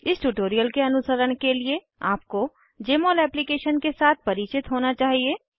इस ट्यूटोरियल के अनुसरण के लिए आपको जमोल एप्लीकेशन के साथ परिचित होना चाहिए